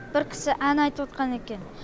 бір кісі ән айтып екен